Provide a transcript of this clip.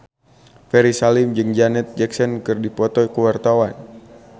Ferry Salim jeung Janet Jackson keur dipoto ku wartawan